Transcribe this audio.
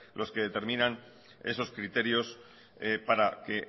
los que determinan esos criterios para que